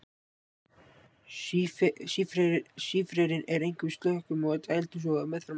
Sífrerinn er einkum í slökkum og dældum svo og meðfram ám.